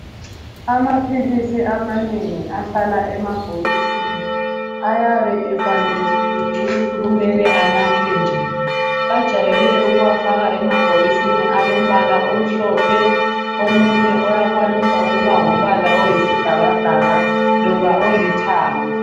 Amaphilisi amanengi ahlala emabhokisini ayabe efanekisiwe ukuthi kumele anathwe njani. Bajayele ukuwafaka ebhokisini alombala omhlophe, omunye uyakwanisa ukuba ngumbala oyisibhakabhaka loba olithanga.